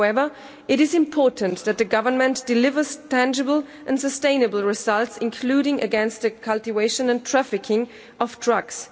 However, it is important that the Government delivers tangible and sustainable results, including against the cultivation and trafficking of drugs.